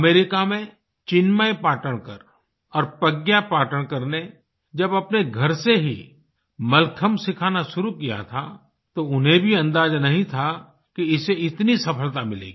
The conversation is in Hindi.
अमेरिका में चिन्मय पाटणकर और प्रज्ञा पाटणकर ने जब अपने घर से ही मलखम्ब सिखाना शुरू किया था तो उन्हें भी अंदाजा नहीं था कि इसे इतनी सफलता मिलेगी